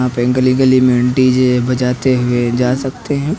यहां पे गली गली में डी जे बजाते हुए जा सकते हैं।